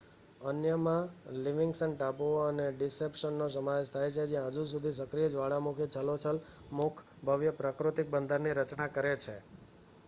અન્યમાં લિવિંગ્સ્ટન ટાપુનો અને ડિસેપ્શનનો સમાવેશ થાય છે જ્યાં હજી સુધી સક્રિય જ્વાળામુખીનું છલોછલ મુખ ભવ્ય પ્રાકૃતિક બંદરની રચના કરે છે